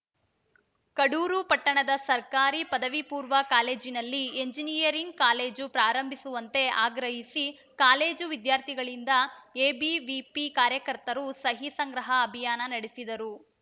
ಕಡೂರು ಪಟ್ಟಣದ ಸರ್ಕಾರಿ ಪದವಿ ಪೂರ್ವ ಕಾಲೇಜಿನಲ್ಲಿ ಎಂಜಿನಿಯರಿಂಗ್‌ ಕಾಲೇಜು ಪ್ರಾರಂಭಿಸುವಂತೆ ಆಗ್ರಹಿಸಿ ಕಾಲೇಜು ವಿದ್ಯಾರ್ಥಿಗಳಿಂದ ಎಬಿವಿಪಿ ಕಾರ್ಯಕರ್ತರು ಸಹಿ ಸಂಗ್ರಹ ಅಭಿಯಾನ ನಡೆಸಿದರು